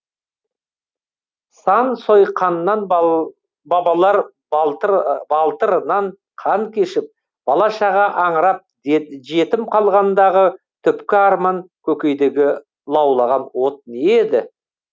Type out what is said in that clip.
сан сойқаннан бабалар балтырынан қан кешіп бала шаға аңырап жетім қалғандағы түпкі арман көкейдегі лаулаған от не еді